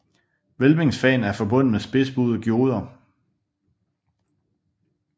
Hvælvingsfagene er forbundet med spidsbuede gjorder